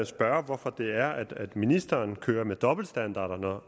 spørge hvorfor det er at ministeren kører med dobbeltstandarder